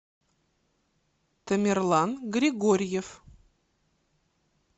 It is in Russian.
тамерлан григорьев